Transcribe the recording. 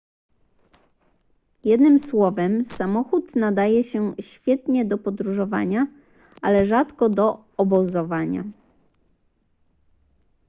jednym słowem samochód nadaje się świetnie do podróżowania ale rzadko do obozowania